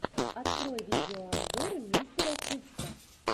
открой видеообзоры мистера хувса